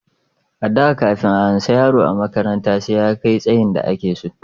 A da kafin a amsa yaro a makaranta sai ya kai tsayin da a ke so